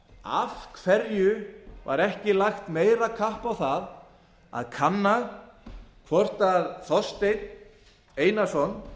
af hverju var ekki lagt meira kapp á það að kanna hvort þorsteinn einarsson